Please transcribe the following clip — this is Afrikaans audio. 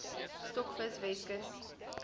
stokvis weskus kreef